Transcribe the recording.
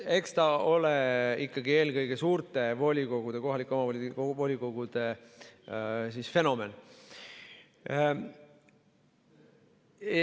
Eks ta ole ikkagi eelkõige suurte kohalike omavalitsuste volikogude fenomen.